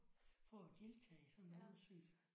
For at deltage i sådan en undersøgelse